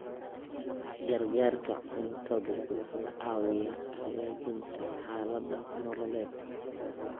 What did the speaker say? Gargaarka cuntadu wuxuu caawiyaa hagaajinta xaaladaha nololeed.